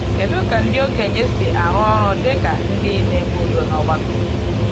Kedu ka ndị okenye si arụ ọrụ dị ka ndị na-eme udo n’ọgbakọ?